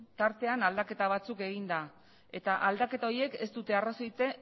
tartean aldaketa batzuk eginda eta aldaketa horiek ez dute